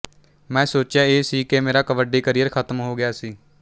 ਮੈਂ ਸੋਚਿਆ ਇਹ ਸੀ ਕਿ ਮੇਰਾ ਕਬੱਡੀ ਕਰੀਅਰ ਖ਼ਤਮ ਹੋ ਗਿਆ ਸੀ